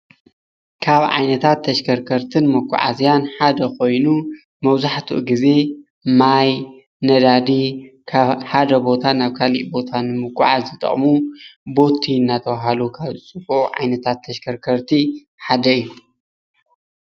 ካብ ዓይነታት ተሽከርከርትን መጓዓዝያን ሓደ ኮይኑ መብዛሕትኡ ግዜ ማይ፣ ነዳዲ ካብ ሓደ ቦታ ናብ ካሊእ ቦታ ንመጓዓዓዚ ዝጠቅሙ ቦቲ እናተባሃሉ ካብ ዝፅውዑ ዓይነታት ተሽከርከርቲ ሓደ እዩ፡፡